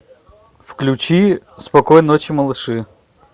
включи спокойной ночи малыши